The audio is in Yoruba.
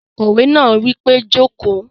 Akòwé náà wí pé "jókòó!"